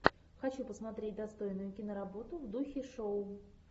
хочу посмотреть достойную киноработу в духе шоу